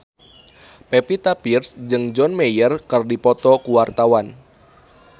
Pevita Pearce jeung John Mayer keur dipoto ku wartawan